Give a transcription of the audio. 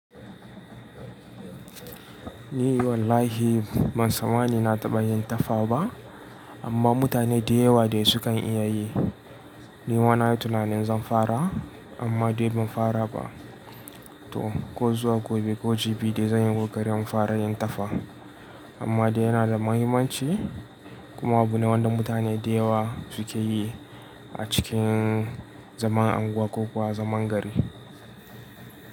Ni wallahi ban sa mani na taɓa yin tafa ba amma mutane da yawa dai sukan iya yi. Ni ma nayi tunanin zan fara amma dai ban fara ba. To ko zuwa gobe ko jibi dai zan yi koƙarin in fara yin tafa amma dai yana da mahimmanci? Kuma abu ne wanda mutane da yawa suke yi a cikin zaman unguwa ko kuwa zaman gari.